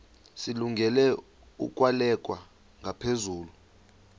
zilungele ukwalekwa ngaphezulu